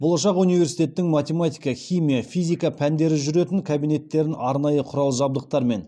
болашақ университеттің математика химия физика пәндері жүретін кабинеттерін арнайы құрал жабдықтармен